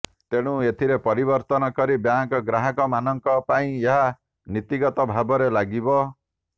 ତେଣୁ ଏଥିରେ ପରିବର୍ତ୍ତନ କରି ବ୍ୟାଙ୍କ ଗ୍ରାହକ ମାନଙ୍କ ପାଇଁ ଏହା ନୀତିଗତ ଭାବରେ ଲାଗିବ